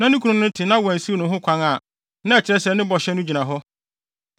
na ne kunu no te na wansiw no ho kwan a, na ɛkyerɛ sɛ ne bɔhyɛ no gyina hɔ.